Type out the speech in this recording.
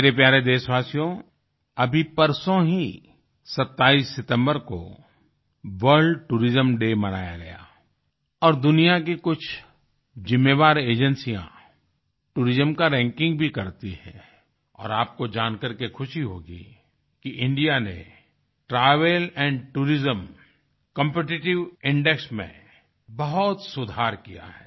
मेरे प्यारे देशवासियो अभी परसों ही 27 सितम्बर को वर्ल्ड टूरिज्म डे मनाया गया और दुनिया की कुछ ज़िम्मेवार एजेंसिया टूरिज्म का रैंकिंग भी करती हैं और आपको जानकर के ख़ुशी होगी कि इंडिया ने ट्रैवल टूरिज्म कॉम्पिटिटिव इंडेक्स में बहुत सुधार किया है